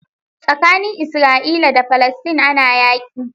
Tsakanin Isra'ila da falestine ana yaƙi.